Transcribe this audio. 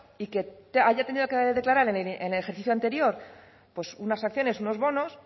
y que haya tenido que declarar en el ejercicio anterior pues unas acciones unos bonos